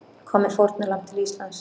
Kom með fórnarlamb til Íslands